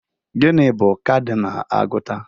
Gịnị bụ kadinal agụta?